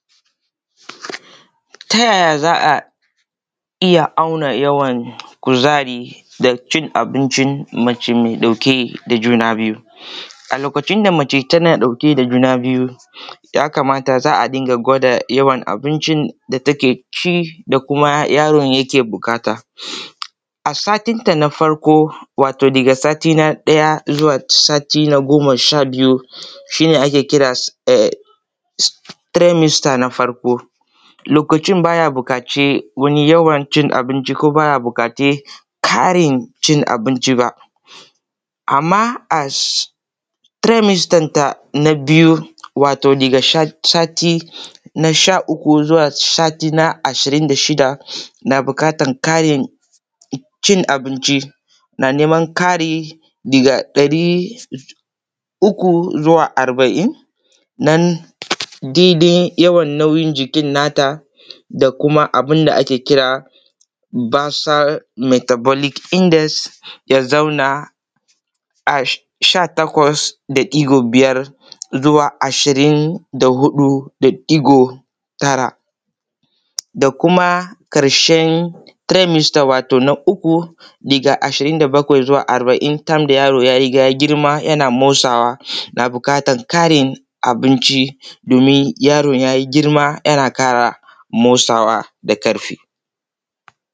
Ta yaya za a iya auna yawan kuzari na cin abinci mace mai ɗauke da juna biyu, a lokaci da mace tana ɗauke da juna biyu za a riƙa gwada abincin da take ci da kuma yaron yake buƙata a satinta na farko wato daga sati na ɗaya zuwa sati na goma sha biyu shi ne ake kira tremister na farko lokaci ba ya bukaci wani abinci ko baya bukaci ƙarin abinci ba. Amma premister nata na biyu waton daga sati na sha uku zuwa sati na ashirin da shida na bukatar karin cin abinci na neman kari daga ɗari uku zuwa arbain nan daidai yawan nauyin jikin nata da kuma abun da ake kira versel metabolic index ya zauna a sha takwas da ɗigo biyar zuwa ashrin da huɗu da ɗigo tara da kuma karshen premister na uku daga ashirin da bakwai zuwa arbain, san da yaro ya girma yana motsawa yana buƙatar karin abinci dimin yaron ya yi girma yana ƙara motsawa da ƙarfi.